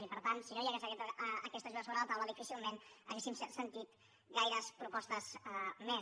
i per tant si no hi hagués hagut aquesta ajuda sobre la taula difícilment hauríem sentit gaires propostes més